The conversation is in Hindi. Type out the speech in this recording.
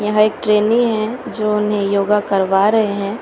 यहां एक ट्रेनी हैं जो उन्हें योगा करवा रहे हैं।